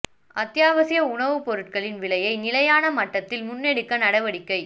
அத்தியாவசிய உணவுப் பொருட்களின் விலைகளை நிலையான மட்டத்தில் முன்னெடுக்க நடவடிக்கை